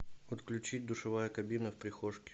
отключить душевая кабина в прихожке